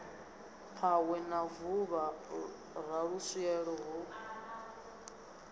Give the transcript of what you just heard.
phahwe na vuvha raluswielo ho